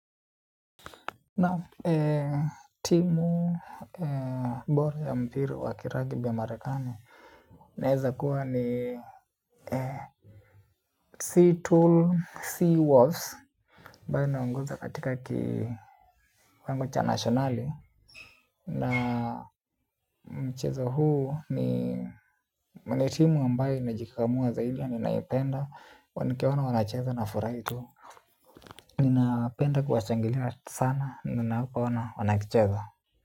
Naam, timu bora ya mpira wa kirugby ya Marekani. Naeza kuwa ni sea tool, sea walls ambayo inaongoza katika kiwango cha nationali. Na mchezo huu ni mne timu ambayo imejikakamua zaidi. Ninaipenda, wanikiaona wanacheza na furahi tu. Ninapenda kuwa shangilia sana, ninapo ona wana kicheza.